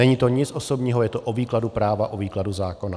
Není to nic osobního, je to o výkladu práva, o výkladu zákona.